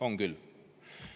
On küll!